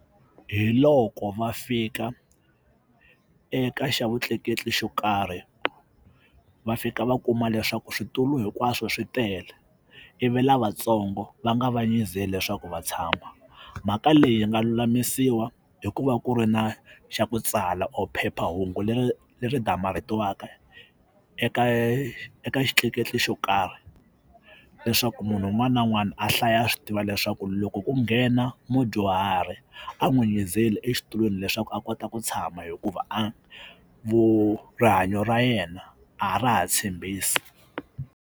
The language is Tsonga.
Hi loko va fika eka xa vutleketli xo karhi va fika va kuma leswaku switulu hinkwaswo swi tele i vi lavatsongo va nga vanyizeli leswaku va tshama mhaka leyi yi nga lulamisiwa hi ku va ku ri na xa ku tsala or phephahungu leri leri damarhetiwaka eka eka eka xitleketli xo karhi leswaku munhu un'wana na un'wana a hlaya a swi tiva leswaku loko ku nghena mudyuhari a n'wi nyizeli exitulwini leswaku a kota ku tshama hikuva a rihanyo ra yena a ra ha tshembisi.